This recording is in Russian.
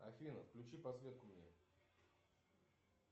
афина включи подсветку мне